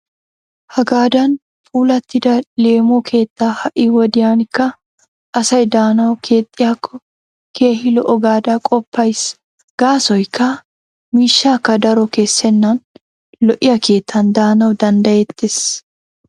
Hagaadan puulattida leemo keetta ha"i wodiyankka asay daanawu keexxiyaako keehi lo"o gaada qoppayis. Gaasoyikka miishshakka daro kessennan lo'iya keettan daanawu dandayettes.